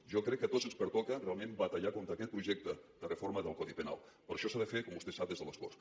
jo crec que a tots ens pertoca realment batallar contra aquest projecte de reforma del codi penal però això s’ha de fer com vostè sap des de les corts